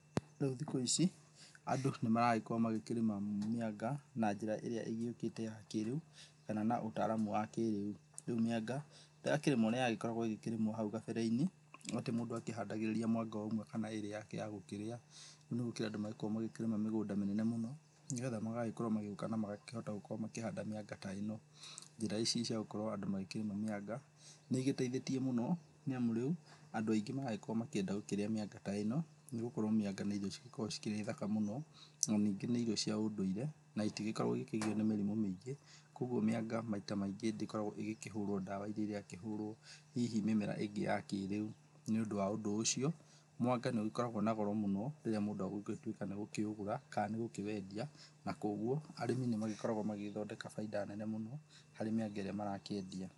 Rĩu thikũ ici andũ nĩ maragĩkorwo magĩkĩrĩma mĩanga na njĩra ĩria ĩgĩũkĩte ya kĩrĩu kana na ũtaramu wa kĩrĩu. Rĩu mĩanga ndĩrakĩrĩmwo ũrĩa yakĩrĩmagwo hau gabere-inĩ atĩ mũndũ akĩhandagĩrĩria mwanga ũmwe kana ĩrĩ yake yagũkĩrĩa, rĩu nĩgũkĩrĩ andũ marakorwo magĩkĩrĩma mĩgũnda mĩnene mũno nĩgetha magagĩkorwo magĩũka na magakorwo makĩhanda mĩanga ta ĩno. Njĩra ici ciagũkorwo andũ magĩkĩrĩma mĩanga nĩ ĩgĩteithĩtie mũno nĩamu rĩu andũ aingĩ maragĩkorwo makĩenda gũkĩrĩa mĩanga ta ĩno nĩgũkorwo mĩanga nĩ irio cĩgĩkoragwo cikĩrĩ thaka mũno na ningĩ nĩ irio cia ũndũire na ĩtĩgĩkoragwo ĩgĩkĩgiywo nĩ mĩrimũ mĩingĩ, koguo mĩanga maita maingĩ ndĩkoragwo ĩgĩkĩhũrwo ndawa ĩria ĩrakĩhũrwo hihi mĩmera ĩngĩ ya kĩrĩa. Nĩ ũndũ wa ũndũ ũcio mwanga nĩ ũgĩkoragwo na goro mũno rĩrĩa mũndũ ũngĩtuĩka nĩ ũgũkĩũgũra kana nĩ gũkĩwendia na koguo arĩmi nĩmagĩkoragwo magĩgĩthondeka bainda nene mũno harĩ mĩanga ĩrĩa marakĩendia.